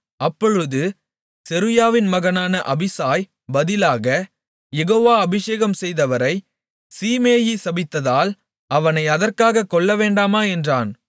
அப்பொழுது செருயாவின் மகனான அபிசாய் பதிலாக யெகோவா அபிஷேகம்செய்தவரைச் சீமேயி சபித்ததால் அவனை அதற்காகக் கொல்லவேண்டாமா என்றான்